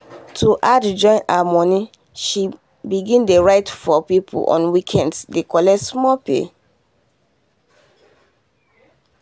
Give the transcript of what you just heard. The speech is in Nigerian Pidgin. to add join her money she begin dey write for people on weekends dey collect small pay.